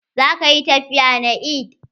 Za ka ƴi tafiya na eid?